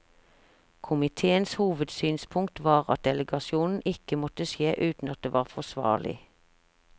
Komiteens hovedsynspunkt var at delegasjon ikke måtte skje uten at det var forsvarlig.